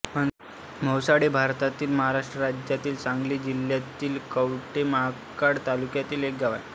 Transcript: म्हैसाळ हे भारतातील महाराष्ट्र राज्यातील सांगली जिल्ह्यातील कवठे महांकाळ तालुक्यातील एक गाव आहे